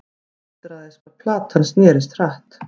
Undraðist hvað platan snerist hratt.